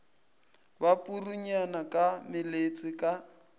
ba purunyana ka meletse ka